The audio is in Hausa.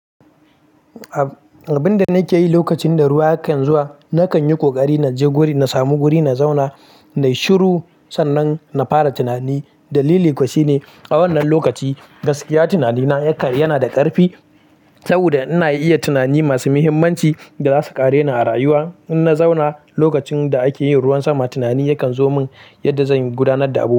Abin da nake yi lokacin da ruwa yake zuwa, nakan yi ƙoƙari na je guri, na sami guri na zauna nayi shiru sannan na fara tunani. Dalili kuwa shine a wannan lokaci gaskiya tunanina yana da ƙarfi saboda ina iya tunani masu muhimmanci da za su ƙare ni a rayuwa. In na zauna lokacin da ake yin ruwan sama, tunani yakan zo min yadda zan gudanar da abubuwa.